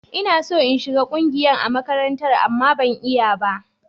Ina so in shiga ƙungiyan a makarantar, amma ban iya ba.